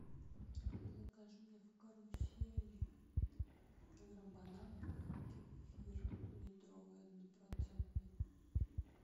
закажи мне в карусели килограмм бананов и кефир литровый однопроцентный